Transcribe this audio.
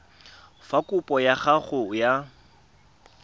fa kopo ya gago ya